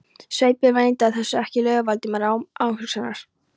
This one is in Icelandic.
Sveinbjörn neitaði þessu ekki- laug Valdimar án umhugsunar.